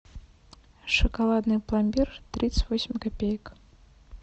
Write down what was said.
шоколадный пломбир тридцать восемь копеек